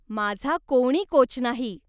माझा कोणी कोच नाही.